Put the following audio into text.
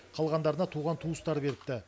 қалғандарына туған туыстары беріпті